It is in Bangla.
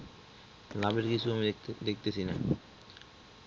লাভের কিছু আমি দেখতে দেখতেছি না